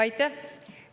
Aitäh!